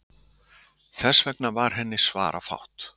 Þess vegna var henni svarafátt.